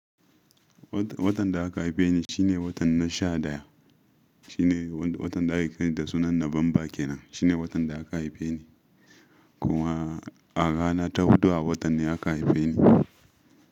Watan da aka haife ni shine watan na sha ɗaya. Shine wanda watan da aka kiran ta sunan November kenan. Shine watan da aka haife ni. Kuma a rana ta hudu a watan ne aka haife ni.